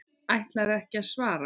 Ætlarðu ekki að svara mér?